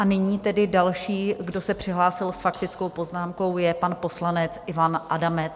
A nyní tedy další, kdo se přihlásil s faktickou poznámkou, je pan poslanec Ivan Adamec.